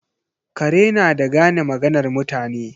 Kare na da gane maganar mutane.